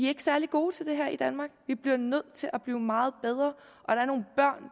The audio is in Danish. er særlig gode til det her i danmark vi bliver nødt til at blive meget bedre og der